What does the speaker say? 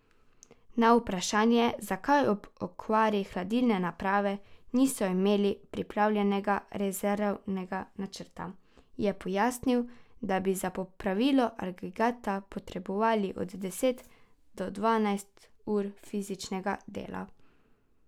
Na vprašanje, zakaj ob okvari hladilne naprave niso imeli pripravljenega rezervnega načrta, je pojasnil, da bi za popravilo agregata potrebovali od deset do dvanajst ur fizičnega dela.